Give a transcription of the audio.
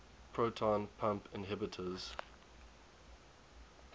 proton pump inhibitors